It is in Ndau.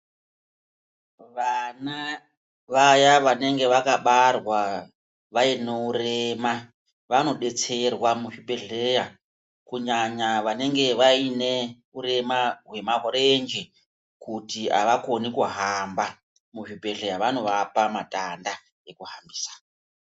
Vana vaya vanenge vakabarwa vayino urema, vanodetserwa muzvibhedhleya ,kunyanya vanenge vayine urema hwemarenje, kuti avakoni kuhamba, muzvibhedhleya vanovapa matanda ekuhambisa.